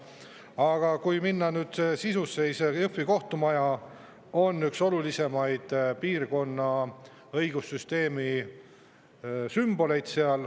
Aga kui minna nüüd sisusse, siis Jõhvi kohtumaja on üks olulisemaid piirkonna õigussüsteemi sümboleid.